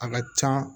A ka can